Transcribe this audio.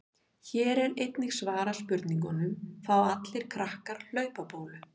Hér er einnig svarað spurningunum: Fá allir krakkar hlaupabólu?